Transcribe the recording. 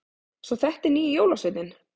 Svo þetta er nýji jólasveininn!